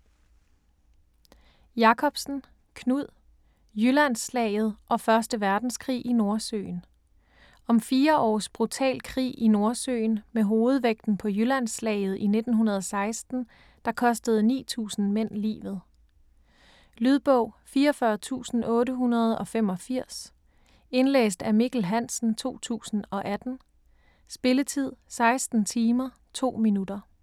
Jakobsen, Knud: Jyllandsslaget og første verdenskrig i Nordsøen Om fire års brutal krig i Nordsøen med hovedvægten på Jyllandsslaget i 1916 der kostede 9000 mænd livet. Lydbog 44885 Indlæst af Mikkel Hansen, 2018. Spilletid: 16 timer, 2 minutter.